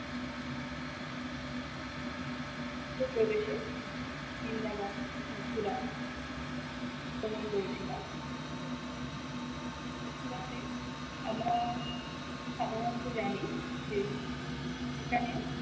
পু প্রবেশে বৃন্দাবন মথুরা ভ্রমন করেছিলাম তে আমরা সাধারণত জানি যে এখানে